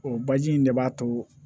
O baji in de b'a to